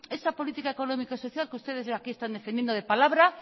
esa política económica que ustedes ya aquí están defendiendo de palabra